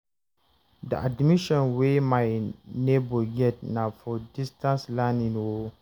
the admission wey my nebor get na for distance learning o